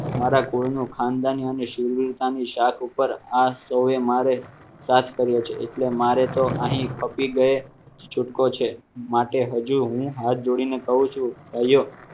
મારા કોઈનો ખાનદાની અને શૂરવીરતાની શાખ ઉપર આ સો એ મારે સ્ટાર્ટ કર્યો છે એટલે મારે તો અહીં પતી ગયે છૂટકો છે માટે હજુ હું હાથ જોડીને કહું છું